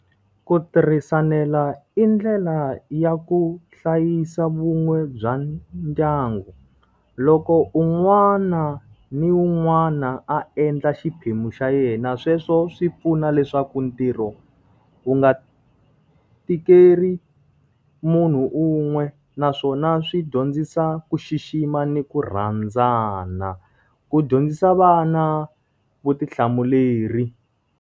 Ku tirhisanela i ndlela ya ku hlayisa vun'we bya ndyangu. Loko un'wana ni wun'wana a endla xiphemu xa yena sweswo swi pfuna leswaku ntirho wu nga tikeli munhu un'we naswona swi dyondzisa ku xixima ni ku rhandzana. Ku dyondzisa vana vutihlamuleri.